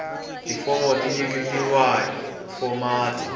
tifomo ti nyiketiwa hi fomati